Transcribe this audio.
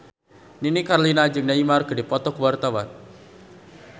Nini Carlina jeung Neymar keur dipoto ku wartawan